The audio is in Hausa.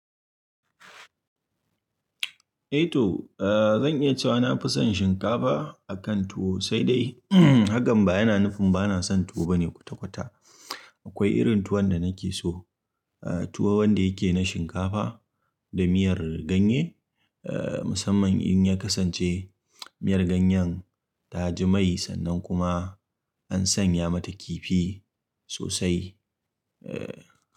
Eh to, eh zan iya cewa na fi son shinkafa akan tuwo, sai dai umm hakan ba yana nufin bana san tuwo bane. Bane kwatakwata akwai irin tuwon da nake so a tuwo wanda yake na shinkafa da miyar ganye. Eh, musamman in ya kasance miyar ganyen ta ji mai sannan kuma an sanya mata kifi sosai. Eh.